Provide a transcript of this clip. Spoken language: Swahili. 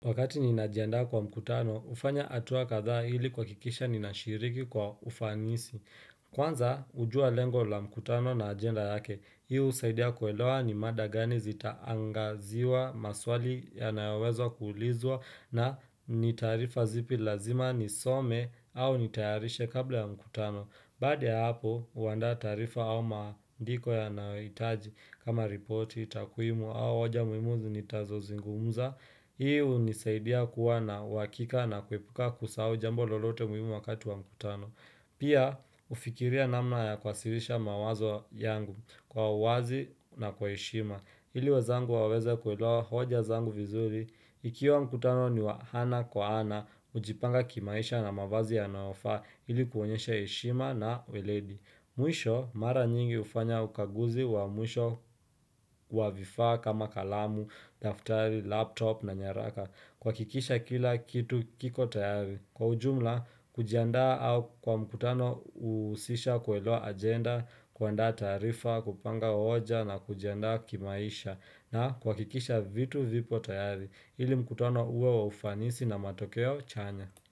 Wakati ninajanda kwa mkutano, ufanya atuwa katha hili kwakikisha ninashiriki kwa ufanisi. Kwanza, hujua lengo la mkutano na agenda yake. Hii husaidia kuelewa ni mada gani zitaangaziwa maswali yanaowezo kuulizwa na nitarifa zipi lazima nisome au nitayarishe kabla ya mkutano. Baada ya hapo, huanda tarifa au maandiko yanaoitaji kama reporti, takuimu au oja muimuzi nitazo zingumuza. Hii hunisaidia kuwa na wakika na kuipuka kusahau jambo lolote muhimu wakati wa mkutano Pia hufikiria namna ya kwasirisha mawazo yangu kwa uwazi na kwa heshima ili we zangu waweza kuelewa hoja zangu vizuri Ikiwa mkutano ni wahana kwa ana, hujipanga kimaisha na mawazi ya naofaa ili kuonyesha heshima na weledi Mwisho mara nyingi hufanya ukaguzi wa mwisho wa vifa kama kalamu, daftari, laptop na nyaraka kwakikisha kila kitu kiko tayari. Kwa ujumla, kujiandaa au kwa mkutano husisha kuelewa ajenda, kwaanda tarifa, kupanga hoja na kujiandaa kimaisha na kwakikisha vitu vipo tayari ili mkutano uwe wa ufanisi na matokeo chanya.